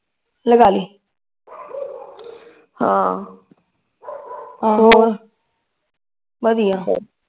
ਲਗਾਲੀ ਹਾਂ ਹਾਂ ਬੋਲ ਵਧੀਆ